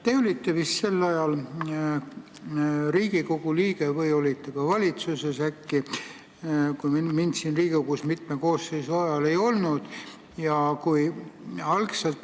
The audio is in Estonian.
Te olite vist sel ajal Riigikogu liige või olite ka valitsuses äkki, kui mind siin Riigikogus mitme koosseisu ajal ei olnud.